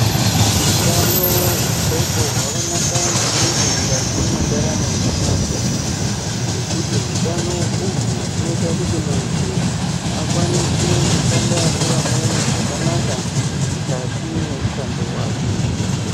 Utano hwendxondo hwakanaka maningi mukati mwendaramo yemuntu ngekuti hutano uhwu hunoita kuti muntu akwanise kushanda nevamweni zvakanaka mukati mwemushando wake.